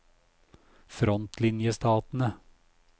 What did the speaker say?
frontlinjestatene